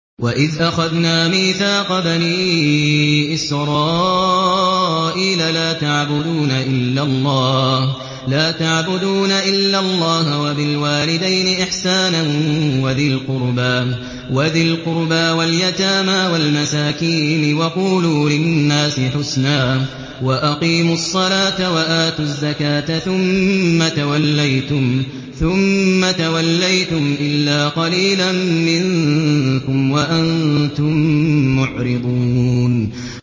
وَإِذْ أَخَذْنَا مِيثَاقَ بَنِي إِسْرَائِيلَ لَا تَعْبُدُونَ إِلَّا اللَّهَ وَبِالْوَالِدَيْنِ إِحْسَانًا وَذِي الْقُرْبَىٰ وَالْيَتَامَىٰ وَالْمَسَاكِينِ وَقُولُوا لِلنَّاسِ حُسْنًا وَأَقِيمُوا الصَّلَاةَ وَآتُوا الزَّكَاةَ ثُمَّ تَوَلَّيْتُمْ إِلَّا قَلِيلًا مِّنكُمْ وَأَنتُم مُّعْرِضُونَ